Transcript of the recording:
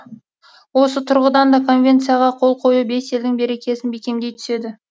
осы тұрғыдан да конвенцияға қол қою бес елдің берекесін бекемдей түседі